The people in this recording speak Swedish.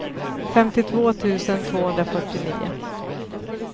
femtiotvå tusen tvåhundrafyrtionio